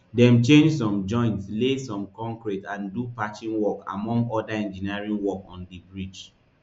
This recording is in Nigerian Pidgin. dem change some joints lay some concrete and do patching work among oda engineering work on di bridge